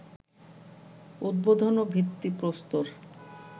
উদ্বোধন ও ভিত্তিপ্রস্তর